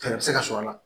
Fɛɛrɛ bɛ se ka sɔrɔ a la